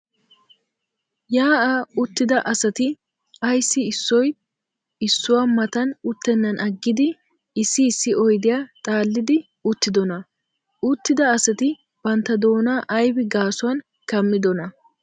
Yaa'aa uttida asati ayssi issoy issuwaa matan utenaan aggidi issi issi oydiya xaallidi uttidonaa? Uttida asati bantta doona aybi gaasuwaan kammidonaa?